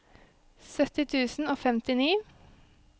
sytti tusen og femtini